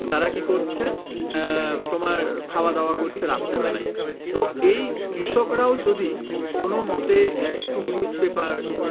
তারা কি করছে আহ তোমার খাওয়া দাওয়া করছে রাত্রে বেলায় তো এই কৃষকরাও যদি কোনো মতে আহ একটু newspaper